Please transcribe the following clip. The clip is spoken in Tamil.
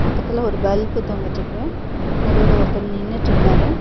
பக்கத்துல ஒரு பல்ப் தொங்கிட்ருக்கு நடுவுல ஒருத்தர் நின்னுட்ருக்காரு.